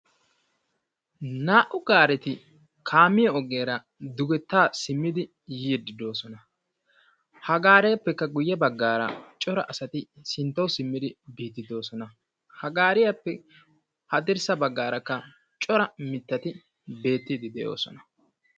Naa'u gaareti kaamiya ogiyara dugettaa simmidi yiiddi doosona. Ha gaariyappekka guyye baggaara cora asati sinttauw simmidi biiddi doosona. Ha gaariyappe haddirssa baggaarakka cora mittati beettiidi doosona.